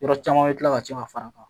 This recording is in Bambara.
Yɔrɔ caman bɛ tila ka ci ka fara a kan